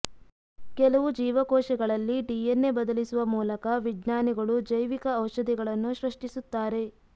ಕೆಲವು ಜೀವಕೋಶಗಳಲ್ಲಿ ಡಿಎನ್ಎ ಬದಲಿಸುವ ಮೂಲಕ ವಿಜ್ಞಾನಿಗಳು ಜೈವಿಕ ಔಷಧಿಗಳನ್ನು ಸೃಷ್ಟಿಸುತ್ತಾರೆ